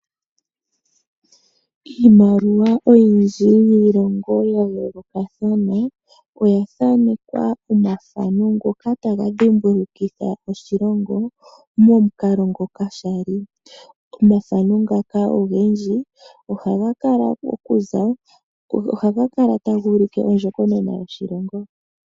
Iimaliwa oyindji yiilongo yayooloka than oyathanekwa omathano ngoka tagadhimbulukitha oshilongo momukalo ngoka shali, omathano ngaka ogendji ohagakala taguulike ondjokonona yoshilongo.